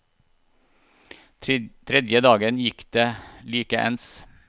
Tredje dagen gikk det like ens.